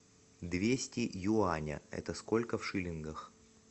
двести юаня это сколько в шиллингах